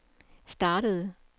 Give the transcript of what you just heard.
startede